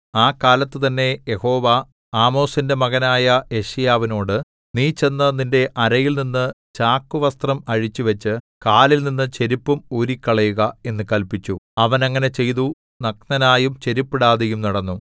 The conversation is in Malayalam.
ആ കാലത്തുതന്നെ യഹോവ ആമോസിന്റെ മകനായ യെശയ്യാവിനോട് നീ ചെന്നു നിന്റെ അരയിൽനിന്നു ചാക്കുവസ്ത്രം അഴിച്ചുവച്ചു കാലിൽനിന്ന് ചെരിപ്പും ഊരിക്കളയുക എന്നു കല്പിച്ചു അവൻ അങ്ങനെ ചെയ്തു നഗ്നനായും ചെരിപ്പിടാതെയും നടന്നു